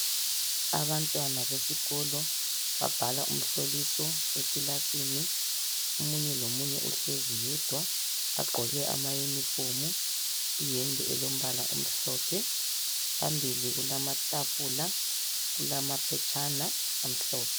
Abantwana besikolo babhala umhloliso ekilasini omunye lomunye uhlezi yedwa bagqoke amayunifomu iyembe elombala omhlophe phambili kulamatafula kulamaphetshana amhlophe.